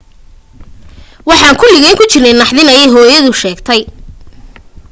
waxaan kuligeen ku jirnay naxdin ayee hooyada sheegtay